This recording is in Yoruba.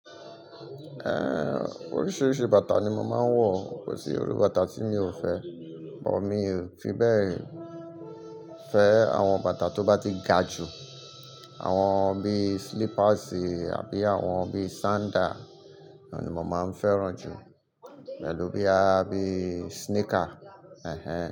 Ehn, oríṣiríṣi bàtà ni mo máa ń wọ̀, kò sí irú bàtà tí mi ò fẹ́, but mi fi bẹ́ẹ̀ fẹ́ àwọn bàtà tó bá ti ga jù, àwọn bí slippers àbí àwọn bí sandal, òun ni mo máa ń fẹ́ràn jù, pẹ̀lú bíi abí sneaker, ehn.